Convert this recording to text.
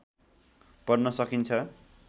पढ्न सकिन्छ